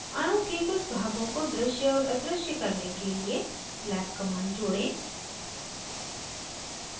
अणु के कुछ भागों को दृश्य और अदृश्य करने के लिए slab command जोड़ें